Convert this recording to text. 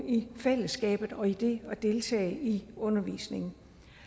i fællesskabet og i det at deltage i undervisningen